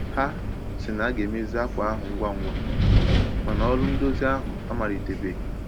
Ha sị na a ga-emezi akwa ahụ ngwa ngwa, ma na ọrụ ndozi ahụ amalite-beghi